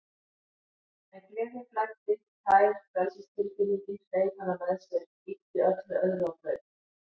En gleðin flæddi, tær frelsistilfinningin, hreif hana með sér, ýtti öllu öðru á braut.